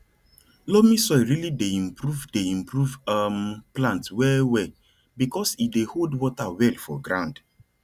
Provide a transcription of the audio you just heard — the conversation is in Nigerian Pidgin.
loamy soil really dey improve dey improve um plant well well because he dey hold water well for ground